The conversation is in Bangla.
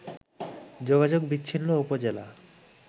যোগাযোগ বিচ্ছিন্ন উপজেলা